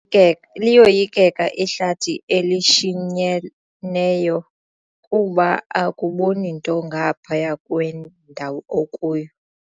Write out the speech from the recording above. Ke liyoyikeka ihlathi elishinyeneyo kuba akuboni nto ngaphaya kwendawo okuyo.